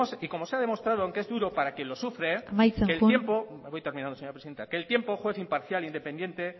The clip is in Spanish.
y como se ha demostrado aunque es duro para quien lo sufre amaitzen joan voy terminando señora presidenta que el tiempo es juez imparcial e independiente